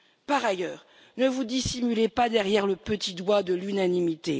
Par ailleurs, ne vous dissimulez pas derrière le petit doigt de l'unanimité.